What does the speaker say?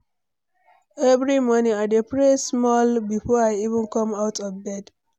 Every morning, I dey pray small before I even come out of bed.